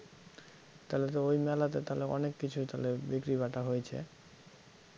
তাহলে তো ওই মেলাতে তাহলে অনেককিছুই তাহলে বিক্রী বাটা হয়েছে